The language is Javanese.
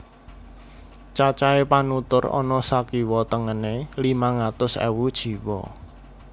Cacahé panutur ana sakiwa tengené limang atus ewu jiwa